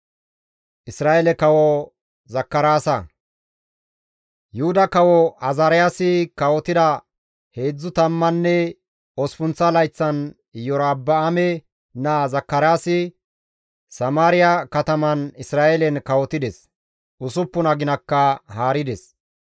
Yuhuda kawo Azaariyaasi kawotida heedzdzu tammanne osppunththa layththan Iyorba7aame naa Zakaraasi Samaariya kataman Isra7eelen kawotides; 6 aginakka haarides.